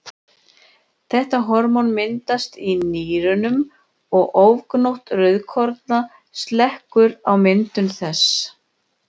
Þetta hormón myndast í nýrunum og ofgnótt rauðkorna slekkur á myndun þess.